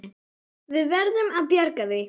Við verðum að bjarga því.